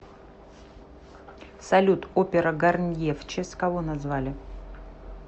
салют опера гарнье в честь кого назвали